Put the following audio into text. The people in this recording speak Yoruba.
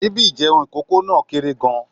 Síbí ìjeun ikókó náà kéré gán-an